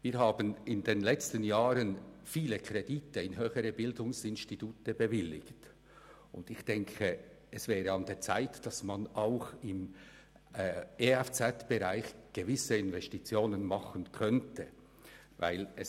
Wir haben in den letzten Jahren viele Kredite für höhere Bildungsinstitute bewilligt, und ich denke, es wäre an der Zeit, auch im EFZ-Bereich gewisse Investitionen zu tätigen.